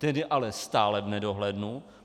Ten je ale stále v nedohlednu.